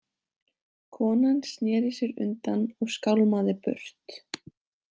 Konan sneri sér undan og skálmaði burt.